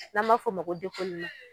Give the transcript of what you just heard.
N'an b'a f'o ma ko dekoleman